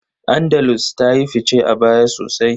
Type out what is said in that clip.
Andalus ta yi fice a baya sosai.